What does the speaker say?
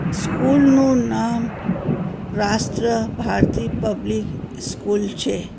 School નું નામ Rashtra Bharati public school છે.